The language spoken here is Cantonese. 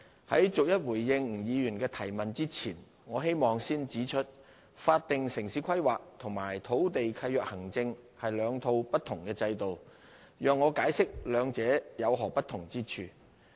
在逐一回應吳議員的質詢之前，我希望先指出，法定城市規劃與土地契約行政是兩套不同的制度，讓我解釋兩者有何不同之處。